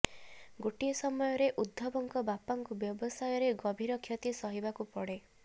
ଗୋଟିଏ ସମୟରେ ଉଦ୍ଧବଙ୍କ ବାପାଙ୍କୁ ବ୍ୟବସାୟରେ ଗଭୀର କ୍ଷତି ସହିବାକୁ ପଡେ